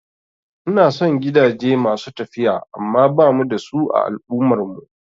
Ina son gidaje masu tafiya amma bamu da su a al'ummar mu